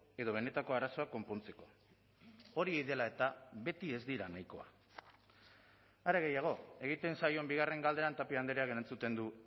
edo benetako arazoak konpontzeko hori dela eta beti ez dira nahikoa are gehiago egiten zaion bigarren galderan tapia andreak erantzuten du